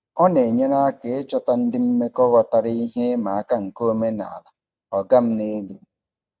Ọ na-enyere aka ịchọta ndị mmekọ ghọtara ihe ịma aka nke omenala "ọga m n'elu".